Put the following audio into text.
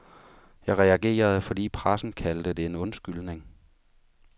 Jeg reagerede, fordi pressen kaldte det en undskyldning.